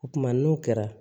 O kumana n'o kɛra